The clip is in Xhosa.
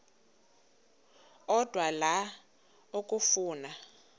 odwa la okafuna